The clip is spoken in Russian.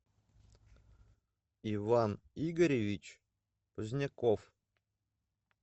иван игоревич поздняков